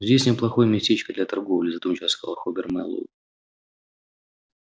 здесь неплохое местечко для торговли задумчиво сказал хобер мэллоу